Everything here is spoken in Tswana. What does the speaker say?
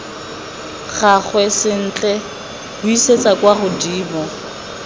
gagwe sentle buisetsa kwa godimo